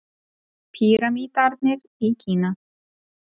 Pýramídarnir í Kína.